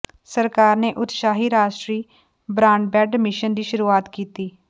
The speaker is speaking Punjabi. ਸਰਕਾਰ ਨੇ ਉਤਸ਼ਾਹੀ ਰਾਸ਼ਟਰੀ ਬਰਾਡਬੈਂਡ ਮਿਸ਼ਨ ਦੀ ਸ਼ੁਰੂਆਤ ਕੀਤੀ